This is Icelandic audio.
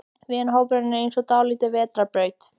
Vinahópurinn er eins og dálítil vetrarbraut.